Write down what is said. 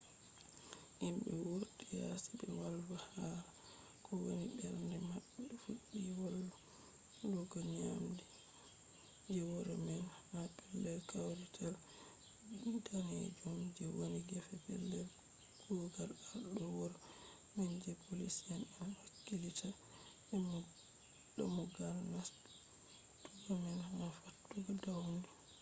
himɓe wurti yasi ɓe wolwa hala ko woni mbernde maɓɓe fuɗɗi wolugo njamdi 11:00nje wuro man utc +1 ha pellel kawrital danejum je woni gefe pellel kugal arɗo wuro man je poliici en hakkilitta dammugal nastugo man ha fattude dawnin